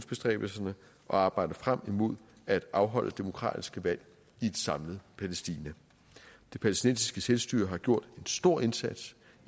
arbejder frem mod at afholde demokratiske valg i et samlet palæstina det palæstinensiske selvstyre har gjort en stor indsats